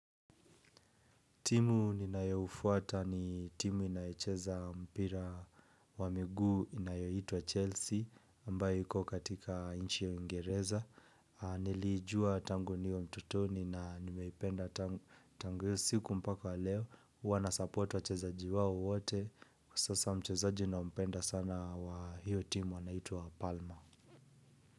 Timu ninayofuata ni timu inayocheza mpira wa miguu inayoitwa Chelsea ambayo iko katika inchi ya uingereza. Nilijua tangu niwe utotoni na nimeipenda tangu hiyo siku mpaka leo. Wanasupport wachezaji wao wote. Kwa sasa mchezaji ninampenda sana wa hiyo timu anaitwa palma.